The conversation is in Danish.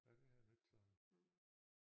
Ja det har jeg nu ikke sådan